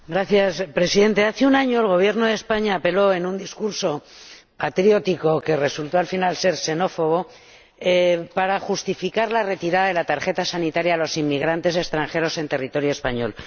Señor Presidente, hace un año, el Gobierno de España, en un discurso patriótico, que resultó al final ser xenófobo, justificó la retirada de la tarjeta sanitaria a los inmigrantes extranjeros en territorio español.